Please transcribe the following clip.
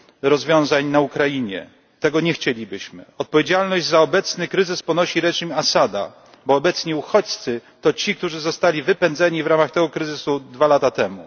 rozwiązań na Ukrainie. Tego nie chcielibyśmy. Odpowiedzialność za obecny kryzys ponosi reżim Asada, bo obecni uchodźcy to ci, którzy zostali wypędzeni na skutek kryzysu dwa lata